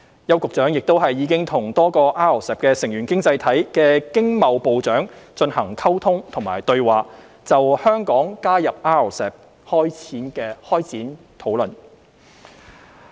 邱局長亦已與多個 RCEP 成員經濟體的經貿部長進行溝通和對話，就香港加入 RCEP 開展討論。